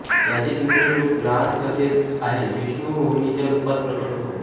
याचे दुसरे रूप लहान कथेत आहे विष्णू मोहिनीच्या रूपात प्रकट होतो